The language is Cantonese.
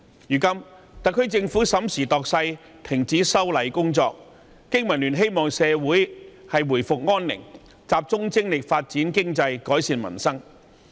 如今，特區政府審時度勢，停止了修例工作。經民聯希望社會回復安寧，集中精力發展經濟、改善民生。